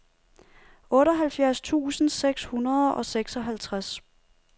otteoghalvfjerds tusind seks hundrede og seksoghalvtreds